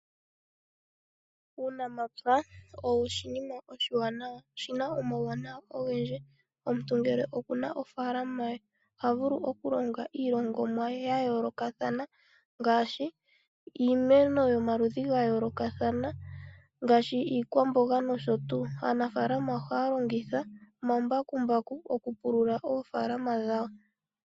Uunamapya oshinima oshiwanawa, oshina omawuwanawa ogendji. Omuntu ngele oku na ofaalana ye oha vulu okulonga iilongomwa ye yayoolokathana ngaashii, iimeno yomaludhi ga yoolokathana ngaashi iikwamboga nosho tuu. Aanafaalama ohaya longitha omambakumbaku okupulula oofaalama dhawo.